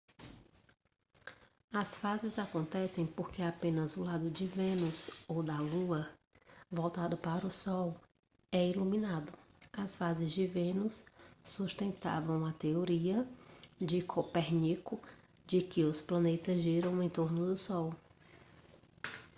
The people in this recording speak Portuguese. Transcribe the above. as fases acontecem porque apenas o lado de vênus ou da lua voltado para o sol é iluminado. as fases de vênus sustentavam a teoria de copérnico de que os planetas giram em torno do sol